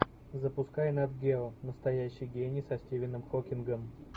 запускай нат гео настоящий гений со стивеном хокингом